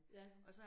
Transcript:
Ja